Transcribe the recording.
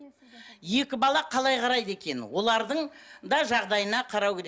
екі бала қалай қарайды екен олардың да жағдайына қарау керек